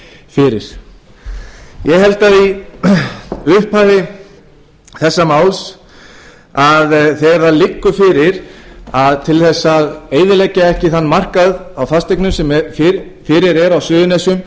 fyrir ég held að í upphafi þessa máls þegar það liggur fyrir til þess að eyðileggja ekki þann markað á fasteignum sem fyrir er á suðurnesjum